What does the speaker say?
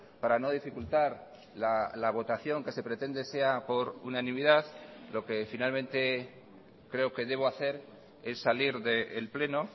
para no dificultar la votación que se pretende sea por unanimidad lo que finalmente creo que debo hacer es salir del pleno